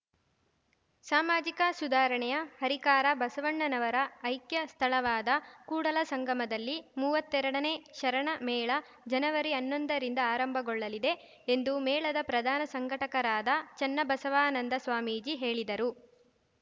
ಸಾಮಾಜಿಕ ಸುಧಾರಣೆಯ ಹರಿಕಾರ ಬಸವಣ್ಣನವರ ಐಕ್ಯ ಸ್ಥಳವಾದ ಕೂಡಲಸಂಗಮದಲ್ಲಿ ಮುವತ್ತೆರಡನೇ ಶರಣ ಮೇಳ ಜನವರಿಅನ್ನೊಂದರಿಂದ ಆರಂಭಗೊಳ್ಳಲಿದೆ ಎಂದು ಮೇಳದ ಪ್ರಧಾನ ಸಂಘಟಕರಾದ ಚನ್ನಬಸವಾನಂದ ಸ್ವಾಮೀಜಿ ಹೇಳಿದರು